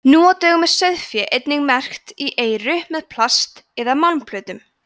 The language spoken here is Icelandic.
nú á dögum er sauðfé einnig merkt í eyru með plast eða málmplötum